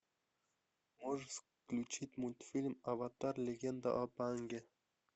можешь включить мультфильм аватар легенда об аанге